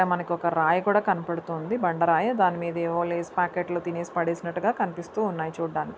ఇడ మనకొక్క రాయి కూడా కనబడుతోంది బండరాయి దానిమీద ఏవో లేస్ ప్యాకెట్లు తినేసి పడేసినట్టుగా కనిపిస్తూ ఉన్నాయి చూడ్డానికి.